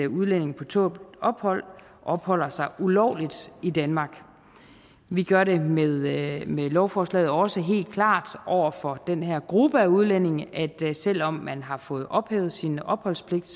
udlændinge på tålt ophold opholder sig ulovligt i danmark vi gør det med med lovforslaget også helt klart over for den her gruppe af udlændinge at selv om man har fået ophævet sin opholdspligt